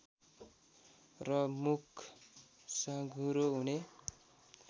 र मुख साँघुरो हुने